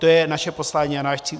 To je naše poslání a náš cíl.